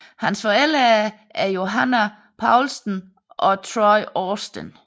Hans forældre er Johannah Poulston og Troy Austin